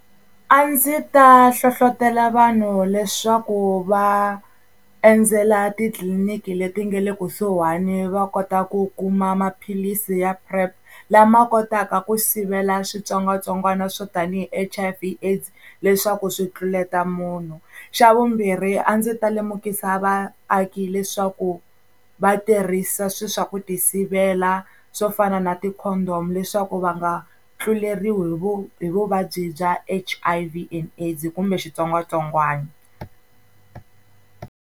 A ndzi ta hlohlotelo vanhu leswaku va endzela titliliniki leti nga le kusuhani va kota ku kuma maphilisi ya PrEP lama kotaka ku sivela switsongwatsongwana swo tanihi H_I_V AIDS leswaku swi tluleta munhu. Xa vumbirhi a ndzi ta lemukisa vaaki leswaku va tirhisa swi swa ku ti sivela swo fana na ti-condom leswaku va nga tluleriwi hi vu hi vuvabyi bya H_I_V and AIDS kumbe xitsongwatsongwana.